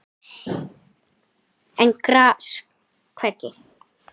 en gras hvergi